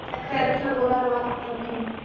अं थंडगार वापर